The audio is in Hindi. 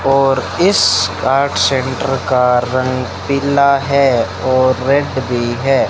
और इस आर्ट सेंटर का रंग पीला है और रेड भी है।